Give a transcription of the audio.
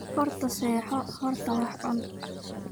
Horta seexo, horta wax cun.